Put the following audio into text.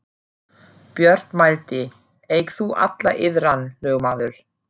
Björn mælti: Eig þú alla iðran, lögmaður.